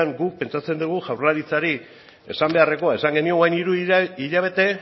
guk pentsatzen dugu jaurlaritzari esan beharrekoa esan genion orain dela hiru hilabete